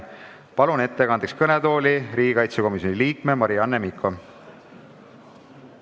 Palun ettekandeks kõnetooli riigikaitsekomisjoni liikme Marianne Mikko!